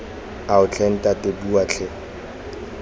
ao tlhe ntate bua tlhe